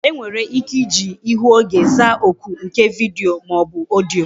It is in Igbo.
E nwere ike iji ihu oge zaa oku nke vidiyo maọbu odiyo